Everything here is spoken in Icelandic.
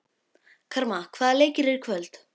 Karma, hvaða leikir eru í kvöld?